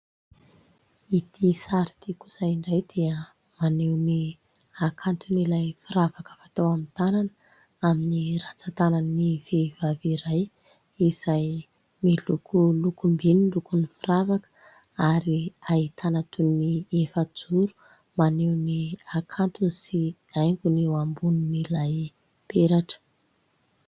Itỳ sary itỳ kosa indray dia maneho ny hakanton'ilay firavaka fatao amin'ny tanana amin'ny rantsan-tanan'ny vehivavy iray izay miloko lokom-by ny lokon'ny firavaka ary ahitana toy ny efa-joro, maneho ny hakantony sy haingony eo ambonin'ilay peratra.